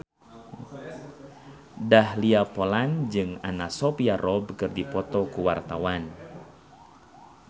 Dahlia Poland jeung Anna Sophia Robb keur dipoto ku wartawan